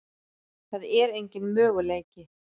Það er engin möguleiki.